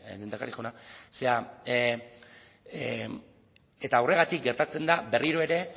lehendakari jauna horregatik gertatzen da berriro ere